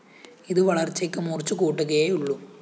ഇത് വളര്‍ച്ചയ്ക്ക് മൂര്‍ച്ചകൂട്ടുകയെ ഉള്ളൂ